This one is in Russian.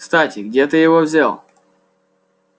кстати где ты его взял